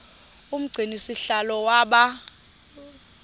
umgcini sihlalo waba